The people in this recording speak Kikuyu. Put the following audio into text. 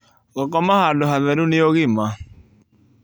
Gũkoma handũ hatheru nĩ ũgima